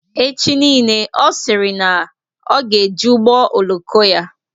Echi nile Ọ sịrị na ya ga-eji ụgbọ oloko ya